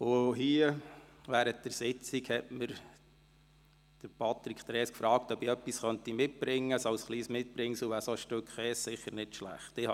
Während einer Sitzung hier fragte mich Patrick Trees, ob ich etwas mitbringen könnte, und sagte, ein Stück Käse wäre sicher kein schlechtes Mitbringsel.